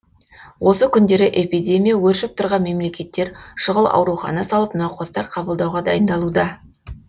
осы күндері эпидемия өршіп тұрған мемлекеттер шұғыл аурухана салып науқастар қабылдауға дайындалуда